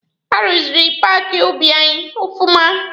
A ruziri paaki ubi anyị ọfụma.